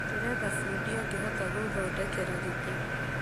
Ndĩretha bundĩ angĩhota gũthondekera gĩtĩ